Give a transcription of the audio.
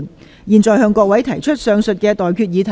我現在向各位提出上述待決議題。